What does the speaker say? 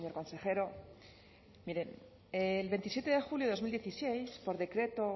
consejero miren el veintisiete de julio de dos mil dieciséis por decreto